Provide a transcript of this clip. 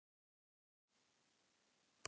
Hann vissi ekki hvernig honum leið.